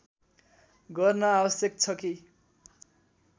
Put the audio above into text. गर्न आवश्यक छ कि